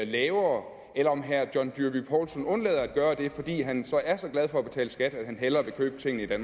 lavere eller om herre john dyrby paulsen undlader at gøre det fordi han så er så glad for at betale skat at han hellere vil købe tingene